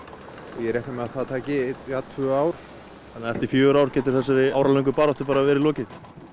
og ég reikna með að það taki tvö ár þannig að eftir fjögur ár verður þessari áralöngu baráttu lokið